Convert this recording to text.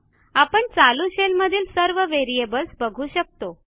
आपण चालू शेल मधील सर्वVariables बघू शकतो